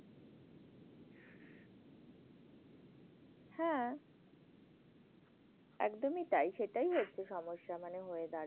হ্যাঁ, একদমই তাই। সেটাই হচ্ছে সমস্যা মানে হয়ে দাঁড়ায়।